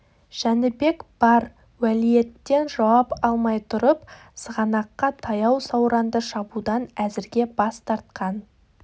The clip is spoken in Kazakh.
жәнібек бар уәлиеттен жауап алмай тұрып сығанаққа таяу сауранды шабудан әзірге бас тартқан